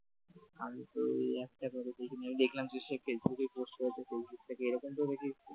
আমিতো ওই একটা ভাবে দেখিনি আমি দেখলাম সে ফেসবুকে post করেছে ফেসবুক থেকে এরকম তো